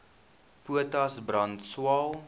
potas brand swael